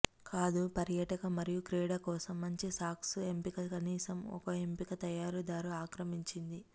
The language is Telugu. కాదు పర్యాటక మరియు క్రీడ కోసం మంచి సాక్స్ ఎంపిక కనీసం ఒక ఎంపిక తయారీదారు ఆక్రమించింది